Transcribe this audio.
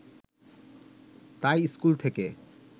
তাই স্কুল থেকে